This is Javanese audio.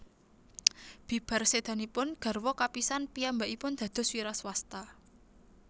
Bibar sédanipun garwa kapisan piyambakipun dados wiraswasta